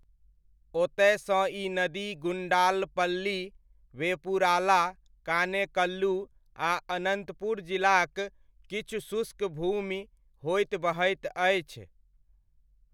ओतयसँ ई नदी गुण्डालपल्ली, वेपुराला, कानेकल्लू आ अनन्तपुर जिलाक किछु शुष्क भूमि होइत बहैत अछि।